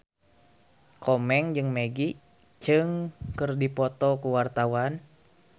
Komeng jeung Maggie Cheung keur dipoto ku wartawan